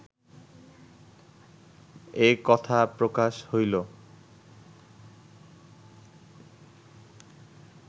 এ কথা প্রকাশ হইল